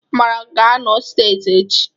Amarachi ga-anọ seti echi